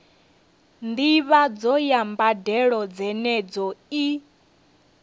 ndivhadzo ya mbadelo dzenedzo i